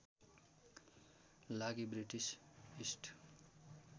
लागि British east